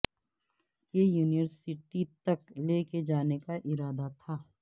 کہ یونیورسٹی تک لے کے جانے کا ارادہ تھا